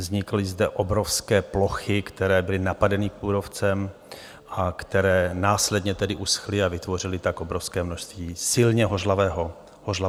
Vznikly zde obrovské plochy, které byly napadeny kůrovcem a které následně tedy uschly, a vytvořily tak obrovské množství silně hořlavého materiálu.